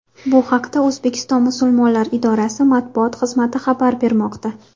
Bu haqda O‘zbekiston Musulmonlari idorasi matbuot xizmati xabar bermoqda .